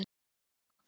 Þetta var okkar.